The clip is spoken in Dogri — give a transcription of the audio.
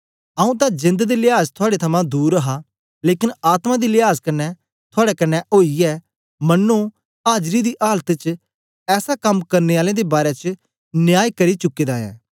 आऊँ तां जेंद दे लियाज थुआड़े थमां दूर हा लेकन आत्मा दी लियाज कन्ने थुआड़े कन्ने ओईयै मन्नो आजरी दी आलत च ऐसा कम करने आलें दे बारै च न्याय करी चुके दा ऐं